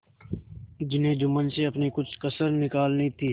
जिन्हें जुम्मन से अपनी कुछ कसर निकालनी थी